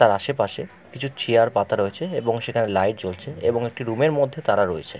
তার আশেপাশে কিছু চেয়ার পাতা রয়েছে এবং সেখানে লাইট জ্বলছে এবং তারা রুমের মধ্যে রয়েছে।